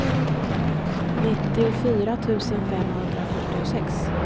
nittiofyra tusen femhundrafyrtiosex